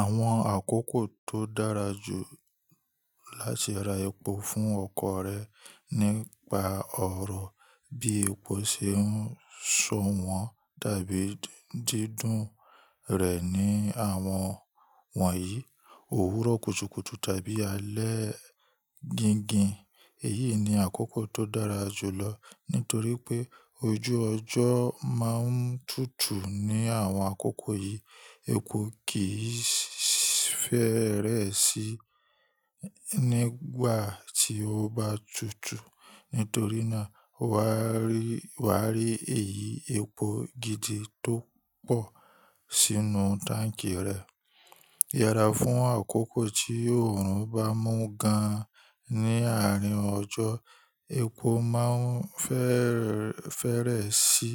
Àwọn àkókò tó dára jù láti ra epo fún ọkọ̀ rẹ nípa ọ̀rọ̀ bí epo ṣe ń ṣọ̀wọ́n tàbí dídùn rẹ̀ ní àwọn wọ̀nyí, òwúrọ̀ kùtùkùtù tàbí alẹ́ gingin. Èyí ni àkókò tó dára jù lọ nítorí pé ojú ọjọ́ máa ń tútù ní àwọn àkókò yìí. Epo kì í fẹ́rẹ́ sí nígbà tí ó bá tutù nítorí náà wà á rí èyí epo gidi tó pọ̀ sínú táǹkì rẹ. Yẹra fún àkókò tí oòrùn bá mú gan ní àárín ọjọ́, epo máa ń fẹ́rẹ́ sí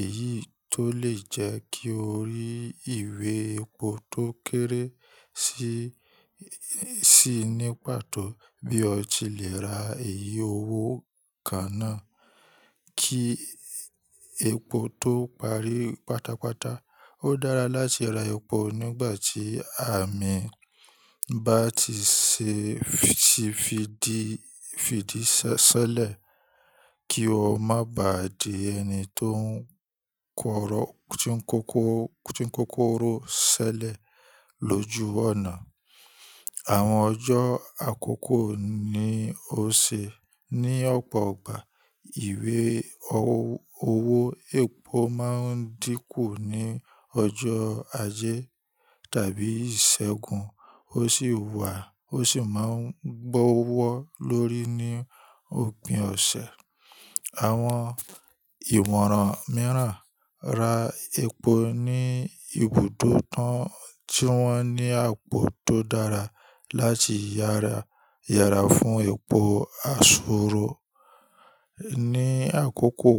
èyí tó lè jẹ́ kí o rí ìwé epo tó kéré si sí ní pàtó bí o tilẹ̀ ra èyí owó kàn náa. Kí epo tó parí pátápátá, ó dára láti ra epo nígbà tí àmì bá ti fi di sẹ́lẹ̀ kí o má ba à di ẹni tó ń kóró sẹ́lẹ̀ lójú ọ̀nà. Àwọn ọjọ́ àkókò ni ó ṣe ní ọ̀pọ̀ igbà ìwé owó epo má ń dínkù ní ọjọ́ ajé tàbí ìṣẹ́gun ó sì wà ó sì máa ń gbọ́wọ́ lórí ní òpin ọ̀sẹ̀. Àwọn ìmọ̀ràn mìíràn ra epo ní ibùdó tán tí wọ́n ní àpò tó dára láti yẹra fún epo àsúrò. Ni àkókò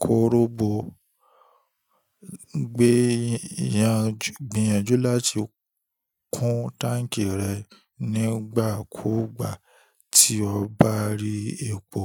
korobo, gbìyànjú láti kún táǹkì rẹ nígbà kúùgbà tí o bá rí epo.